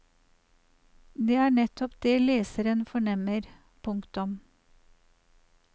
Det er nettopp det leseren fornemmer. punktum